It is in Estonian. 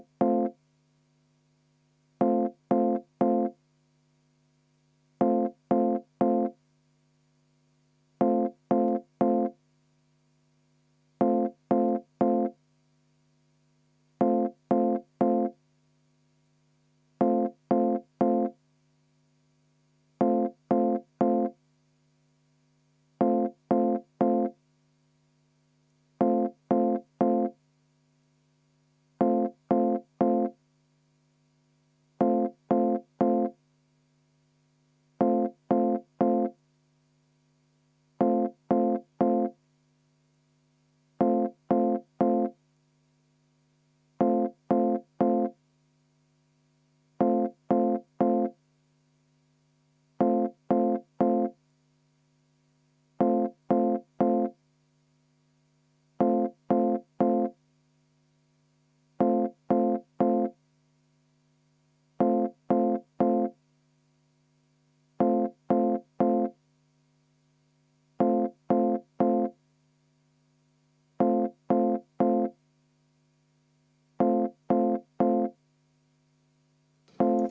V a h e a e g